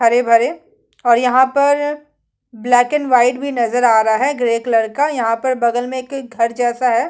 हरे-भरे और यहाँ पर ब्लैक एंड व्हाइट भी नज़र आ रहा है ग्रे ग्रे कलर का बगल में एक घर जैसा है।